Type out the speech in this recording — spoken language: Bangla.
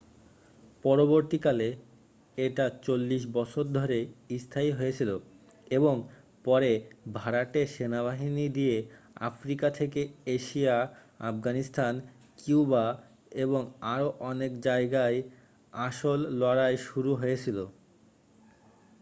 পরবর্তীকালে এটা 40 বছর ধরে স্থায়ী হয়েছিল এবং পরে ভাড়াটে সেনাবাহিনী দিয়ে আফ্রিকা থেকে এশিয়া আফগানিস্তান কিউবা এবং আরও অনেক জায়গায় আসল লড়াই শুরু হয়েছিল